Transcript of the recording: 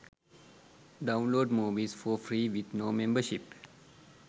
download movies for free with no membership